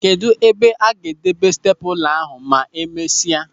Kedụ ebe ọ ga-edebe steepụla ahụ ma e mesịa?